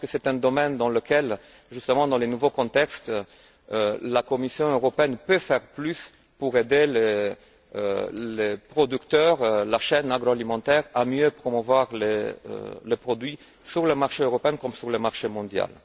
Je pense que c'est un domaine dans lequel, justement dans les nouveaux contextes, la Commission européenne peut faire plus pour aider les producteurs, la chaîne agroalimentaires, à mieux promouvoir les produits sur le marché européen comme sur le marché mondial.